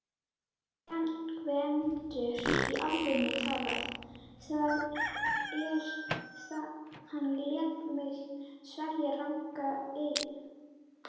GVENDUR: Í alvöru talað: hann lét mig sverja rangan eið.